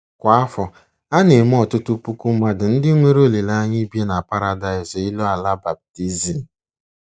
Kwa afọ, a na-eme ọtụtụ puku mmadụ ndị nwere olileanya ibi na paradaịs elu ala baptizim.